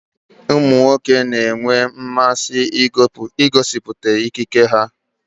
Ụmụ nwoke na-enwe mmasị igosịpụta ikike ha